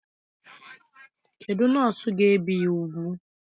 Kedụ nọọsụ ga ebi ya úgwù?